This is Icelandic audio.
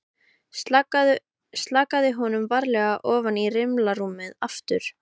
Slakaði honum varlega ofan í rimlarúmið aftur.